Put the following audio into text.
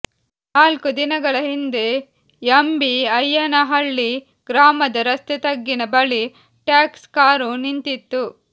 ನಾಲ್ಕು ದಿನಗಳ ಹಿಂದೆ ಎಂ ಬಿ ಅಯ್ಯನಹಳ್ಳಿ ಗ್ರಾಮದ ರಸ್ತೆ ತಗ್ಗಿನ ಬಳಿ ಟ್ಯಾಕ್ಸ್ ಕಾರು ನಿಂತಿತ್ತು